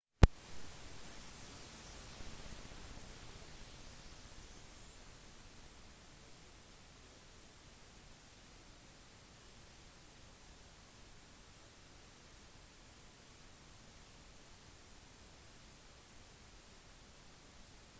i sine notater benyttet han ord som noen foresatte så på som upassende og han benyttet visstnok obskøne uttrykk i klasserommet